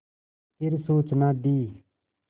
फिर सूचना दी